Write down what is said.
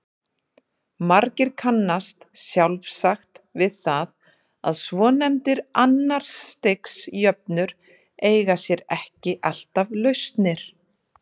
Margir kannast sjálfsagt við það að svonefndar annars stigs jöfnur eiga sér ekki alltaf lausnir.